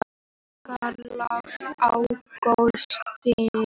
Járnkarlar á klósettinu